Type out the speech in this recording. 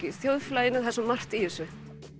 í þjóðfélaginu það er svo margt í þessu